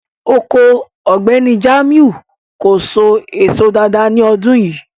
Oko Ọgbẹ̀nì Jamiu kò sò èsò dáàdáa ni ọdún yìí.